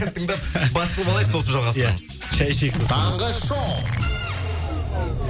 ән тыңдап басылып алайық сосын жалғастырамыз ия шәй ішейік сосын таңғы шоу